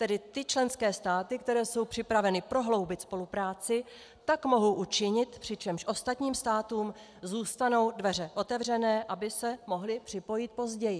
Tedy ty členské státy, které jsou připraveny prohloubit spolupráci, tak mohou učinit, přičemž ostatním státům zůstanou dveře otevřené, aby se mohly připojit později.